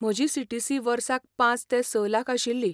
म्हजी सीटीसी वर्साक पांच ते स लाख आशिल्ली.